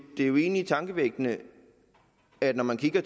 jo egentlig tankevækkende at når man kigger